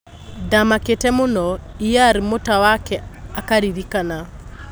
"Ndamakĩĩte mũno," Er Mũtawake akaririkama.